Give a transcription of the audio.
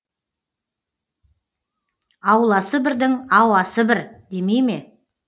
ауласы бірдің ауасы бір демей ме